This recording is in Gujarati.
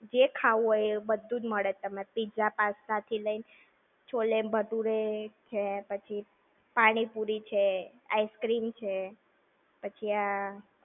જે ખાવું હોય એ બધું જ મળે. Pizza, Pasta થી લઈને છોલે-ભટુરે છે, પછી પાણી-પુરી છે, ice-cream છે, પછી આ.